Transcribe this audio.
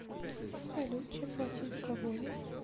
салют чем платить в габоне